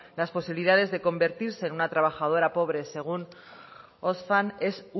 las posibilidades de convertirse en una trabajadora pobre según oxfam es